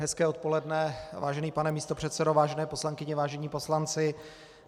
Hezké odpoledne, vážený pane místopředsedo, vážené poslankyně, vážení poslanci.